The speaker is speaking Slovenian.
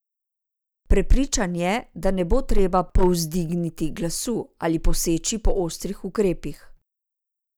Prepričan je, da ne bo treba povzdigniti glasu ali poseči po ostrih ukrepih.